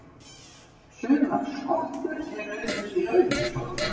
Sumar skottur eru auk þess í rauðum sokkum.